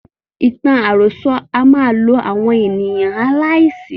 Ìtàn àròsọ a máa lo àwọn ènìyàn aláìsí.